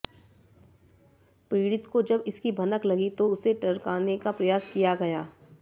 पीडि़त को जब इसकी भनक लगी तो उसे टरकाने का प्रयास किया गया